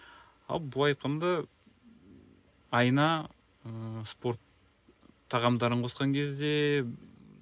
ал былай айтқанда айына ыыы спорт тағамдарын қосқан кезде